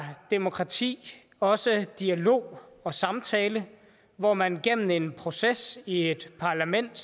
demokrati også dialog og samtale hvor man gennem en proces i et parlament